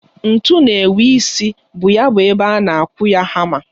Ntu na-enwe isi bu ya bụ ebe a na-akụ ya hama.